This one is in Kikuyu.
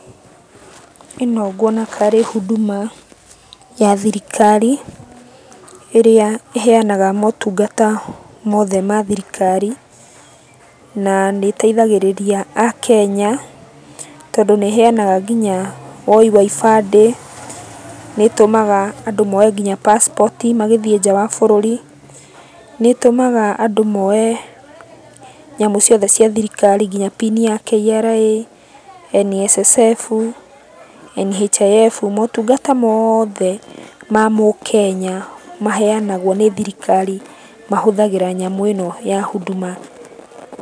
Ĩno nguona karĩ Huduma ya thirikari, ĩrĩa ĩheanaga motungata mothe ma thirikari. Naa, nĩĩteithagĩrĩria Akenya, tondũ nĩĩheanaga nginya woi wa ibandĩ, nĩtũmaga andũ moe nginya passport i magĩthiĩ nja wa bũrũri, nĩĩtũmaga andũ moe nyamũ ciothe cia thirikari kinya pini ya KRA, NSSF, NHIF motungata moothe ma Mũkenya maheanagũo nĩ thirikari mahũthagĩra nyamũ ĩno ya Huduma.